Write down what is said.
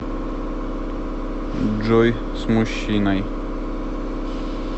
джой с мужчиной